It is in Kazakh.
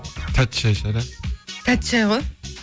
тәтті шәй шығар иә тәтті шәй ғой